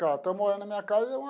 Estou morando na minha casa,